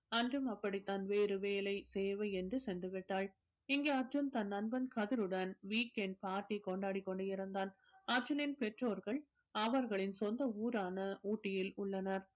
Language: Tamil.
அன்றும் அப்படித்தான் வேறு வேலை தேவை என்று சென்று விட்டாள் இங்கே அர்ஜுன் தன் நண்பன் கதிருடன் week end party கொண்டாடிக் கொண்டிருந்தான் அர்ஜுனனின் பெற்றோர்கள் அவர்களின் சொந்த ஊரான ஊட்டியில் உள்ளனர்